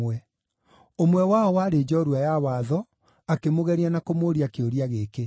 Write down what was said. Ũmwe wao, warĩ njorua ya watho, akĩmũgeria na kũmũũria kĩũria gĩkĩ: